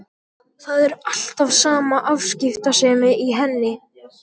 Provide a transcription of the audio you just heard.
Það er alltaf sama afskiptasemin í henni.